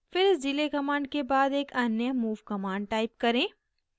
फिर इस delay command के बाद एक अन्य move command type करें